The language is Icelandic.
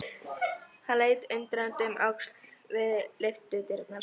Hann leit undrandi um öxl við lyftudyrnar.